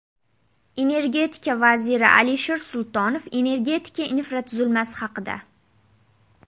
Energetika vaziri Alisher Sultonov energetika infratuzilmasi haqida.